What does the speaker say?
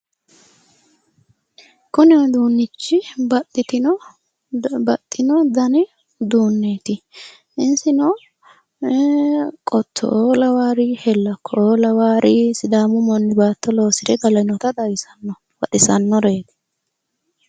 kuni uduunni baxxino dani uduunneeti isino qottoo lawaari hellakkoo lawaari sidaamu manni baatto loosire galinota leellishshanno baxisannoreeti.